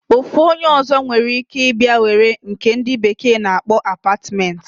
Ofu onye ozo nwekwere ike iba were nke ndi bekee na akpo apartment.